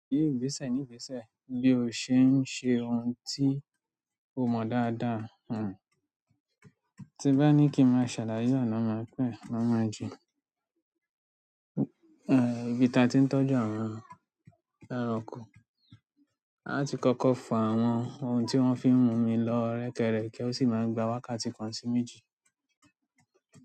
Ní ìgbésẹ̀ ní ìgbésẹ̀ bí o ṣe ń ṣe ohun tí o mọ dáadáa. Ti bá ní kí n máa ṣàláyà ná máa pẹ̀, máa máa jì. Ìbí ta tí ń tọ́jú àwọn ẹranko, a ti kọ́kọ́ fọ àwọn ohun tí wọ́n fi ń mu mi lọ rẹ́kẹ́rẹ́ke kí ó sì máa gba wákàtí kan sí méjì.